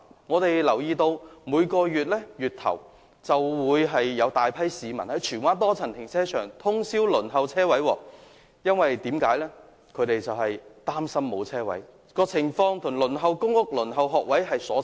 我們留意到，每逢月初便會有大批市民在荃灣多層停車場通宵輪候，因為他們擔心未能申請車位，情況與輪候公屋和學位大同小異。